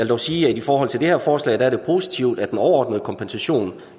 dog sige at i forhold til det her forslag er det positivt at den overordnede kompensation